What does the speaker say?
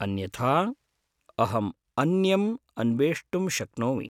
अन्यथा, अहम् अन्यम् अन्वेष्टुं शक्नोमि।